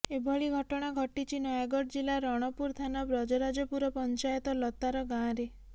ଏଭଳି ଘଟଣା ଘଟିଛି ନୟାଗଡ଼ ଜିଲ୍ଲା ରଣପୁର ଥାନା ବ୍ରଜରାଜପୁର ପଞ୍ଚାୟତ ଲତାର ଗାଁରେ